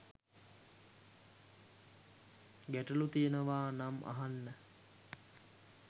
ගැටලු තියනවානම් අහන්න